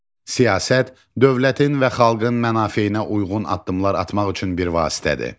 Siyasət, dövlətin və xalqın mənafeyinə uyğun addımlar atmaq üçün bir vasitədir.